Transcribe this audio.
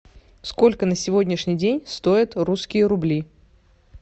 сколько на сегодняшний день стоит русские рубли